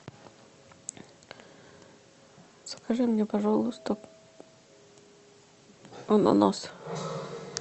закажи мне пожалуйста ананас